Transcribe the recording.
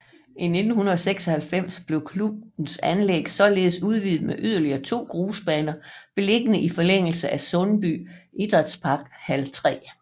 I 1996 blev klubbens anlæg således udvidet med yderligere to grusbaner beliggende i forlængelse af Sundby Idrætsparks hal 3